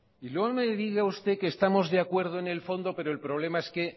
no me diga usted que estamos de acuerdo en el fondo pero el problema es que